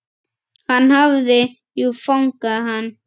Hann hafði jú fangað hann.